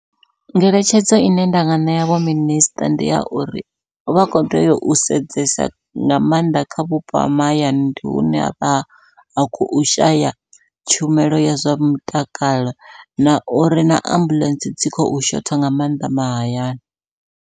Ngeletshedzo ine ndanga ṋea vho minisiṱa, ndi ya uri vha kho tea u sedzesa nga maanḓa kha vhupo ha mahayani. Ndi hune ha vha hu khou shaya tshumelo ya zwa mutakalo na uri na ambuḽentse dzi khou shotha nga maanḓa mahayani.